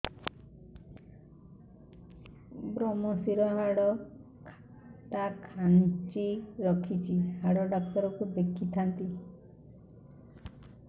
ଵ୍ରମଶିର ହାଡ଼ ଟା ଖାନ୍ଚି ରଖିଛି ହାଡ଼ ଡାକ୍ତର କୁ ଦେଖିଥାନ୍ତି